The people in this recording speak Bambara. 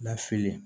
Lafili